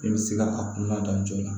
E bɛ se ka a kunnadɔn joona